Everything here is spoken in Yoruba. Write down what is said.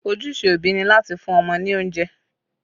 Ojúṣe òbí ni láti fún ọmọ ní oúnjẹ